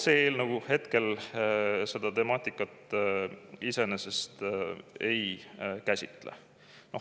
See eelnõu küll seda temaatikat ei käsitle.